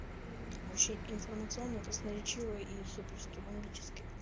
мм вообще информационо красноречиво и суперски бомбически